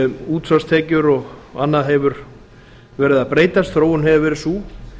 útsvarstekjur og annað hefur verið að breytast þróunin hefur verið sú